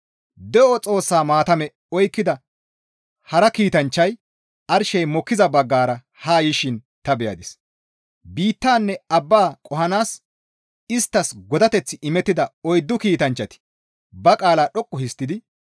De7o Xoossaa maatame oykkida hara kiitanchchay arshey mokkiza baggara haa yishin ta beyadis; biittanne abba qohanaas isttas godateththi imettida oyddu kiitanchchati ba qaalaa dhoqqu histtidi,